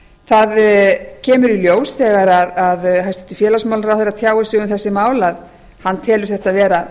það kemur í ljós þegar hæstvirtur félagsmálaráðherra tjáir sig um þessi mál að hann telur þetta vera